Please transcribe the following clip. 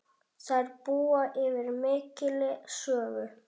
Þær búa yfir mikilli sögu.